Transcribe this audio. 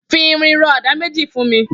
Fi irin rọ àdá méji fùn mi